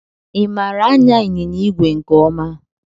I maara anya ịnyịnya ìgwè nke ọma?